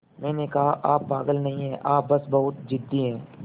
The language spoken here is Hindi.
मैंने कहा आप पागल नहीं हैं आप बस बहुत ज़िद्दी हैं